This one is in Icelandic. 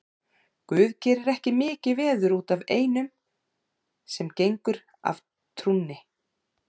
Guð gerir ekki mikið veður út af einum sem gengur af trúnni.